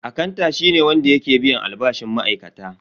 Akanta shi ne wanda yake biyan albashin ma'aikata.